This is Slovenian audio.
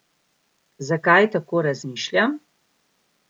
Zakaj tako razmišljam?